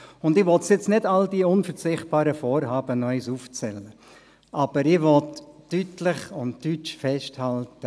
Ich will jetzt nicht noch einmal all die unverzichtbaren Vorhaben aufzählen, aber ich will deutsch und deutlich festhalten: